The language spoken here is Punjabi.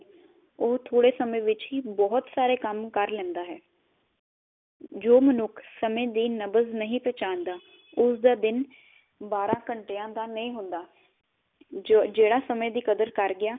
ਉਹ ਥੋੜੇ ਸਮੇ ਵਿਚ ਹੀ ਬਹੁਤ ਸਾਰੇ ਕੰਮ ਕਰ ਲੇੰਦਾ ਹੈ। ਜੋ ਮਨੁਖ ਸਮੇ ਦੀ ਨਬ੍ਜ਼ ਨਹੀ ਪਛਾਣਦਾ, ਉਸਦਾ ਦਿਨ ਬਾਰਾ ਘੰਟਿਆ ਦਾ ਨਹੀ ਹੁੰਦਾ ਜੋ ਜਿਹੜਾ ਸਮੇ ਦੀ ਕਦਰ ਕਰ ਗਿਆ